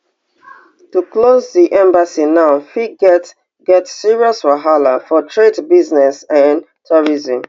to close di embassy now fit get get serious wahala for trade business and tourism